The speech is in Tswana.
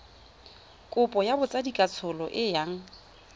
kopo ya botsadikatsholo e yang